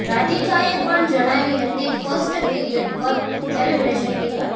રાધિકાએ પણ જણાવી હતી ફર્સ્ટ પીરિયડ પર સેલિબ્રેશનની વાત